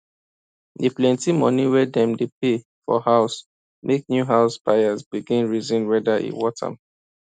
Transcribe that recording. the plenty money wey dem dey pay for house make new house buyers begin reason whether e worth am